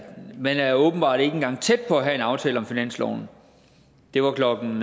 man er åbenbart ikke engang tæt på at have en aftale om finansloven det var klokken